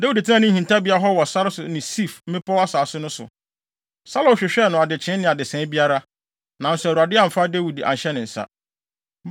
Dawid tenaa ne hintabea hɔ wɔ sare so ne Sif mmepɔw asase no so. Saulo hwehwɛɛ no adekyee ne adesae biara, nanso Awurade amfa Dawid anhyɛ ne nsa.